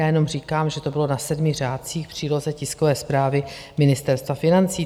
Já jenom říkám, že to bylo na sedmi řádcích v příloze tiskové zprávy Ministerstva financí.